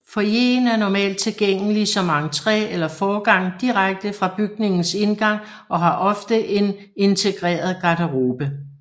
Foyeren er normalt tilgængelig som entré eller forgang direkte fra bygningens indgang og har ofte en integreret garderobe